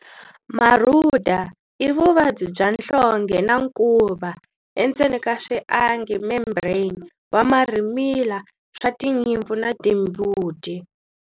Marhuda i vuvaybi bya nhlonhge na nkuva, membrane, wa marhimila swa tinyimpfu na timbuti.